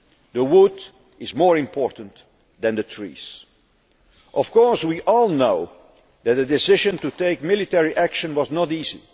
The wood is more important than the trees. We all know that the decision to take military action was not